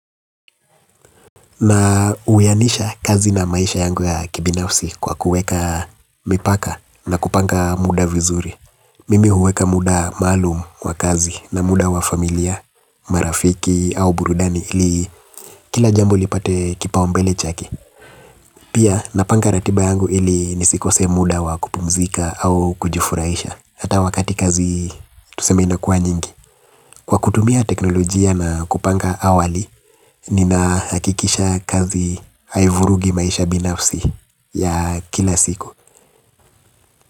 Na uyanisha kazi na maisha yangu ya kibinafsi kwa kuweka mipaka na kupanga muda vizuri. Mimi huweka muda maalum wa kazi na muda wa familia, marafiki au burudani ili kila jambo lipate kipaumbele chake. Pia napanga ratiba yangu ili nisikose muda wa kupumzika au kujifurahisha. Hata wakati kazi tuseme inakuwa nyingi kwa kutumia teknolojia na kupanga awali ninahakikisha kazi haivurugi maisha binafsi ya kila siku.